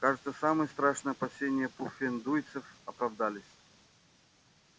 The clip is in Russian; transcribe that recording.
кажется самые страшные опасения пуффендуйцев оправдались